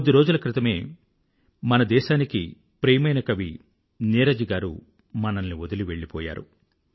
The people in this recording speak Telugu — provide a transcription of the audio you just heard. కొద్ది రోజుల క్రితమే మన దేశానికి ప్రియమైన కవి నీరజ్ గారు మనల్ని వదిలివెళ్ళ పోయారు